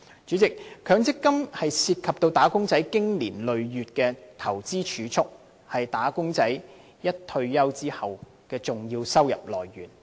主席，強積金涉及"打工仔"經年累月的投資儲蓄，亦是他們退休後的重要收入來源。